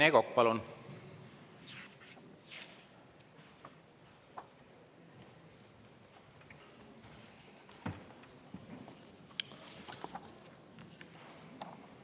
Rene Kokk, palun!